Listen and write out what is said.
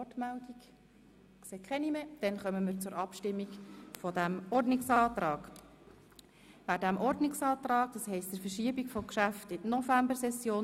Wer den Antrag annehmen will, stimmt ja, wer ihn ablehnt, stimmt nein.